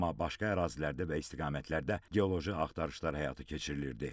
Amma başqa ərazilərdə və istiqamətlərdə geoloji axtarışlar həyata keçirilirdi.